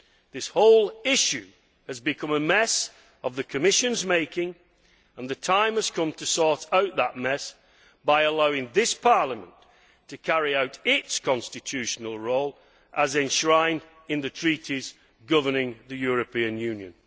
This whole issue has become a mess of the Commission's making and the time has come to sort out that mess by allowing this Parliament to carry out its constitutional role as enshrined in the Treaties governing the European Union.